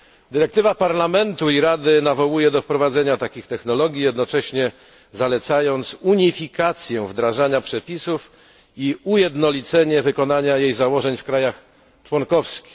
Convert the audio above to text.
Dyrektywa Parlamentu i Rady nawołuje do wprowadzenia takich technologii, jednocześnie zalecając unifikację wdrażania przepisów i ujednolicenie wykonania jej założeń w krajach członkowskich.